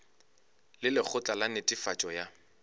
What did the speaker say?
le lekgotla la netefatšo ya